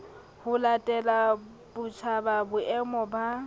ho latela botjhaba boemo ba